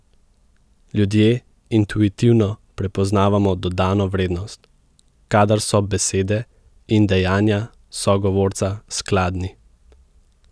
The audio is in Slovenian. Ljudje intuitivno prepoznavamo dodano vrednost, kadar so besede in dejanja sogovorca skladni.